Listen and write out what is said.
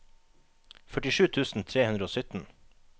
førtisju tusen tre hundre og sytten